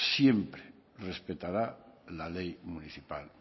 siempre respetará la ley municipal